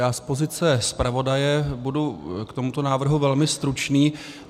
Já z pozice zpravodaje budu k tomuto návrhu velmi stručný.